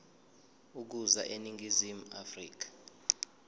ukuza eningizimu afrika